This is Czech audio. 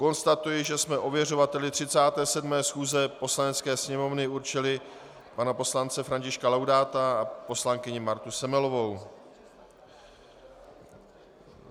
Konstatuji, že jsme ověřovali 37. schůze Poslanecké sněmovny určili pana poslance Františka Laudáta a poslankyni Martou Semelovou.